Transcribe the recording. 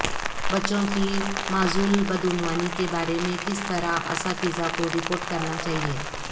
بچوں کی معزول بدعنوانی کے بارے میں کس طرح اساتذہ کو رپورٹ کرنا چاہئے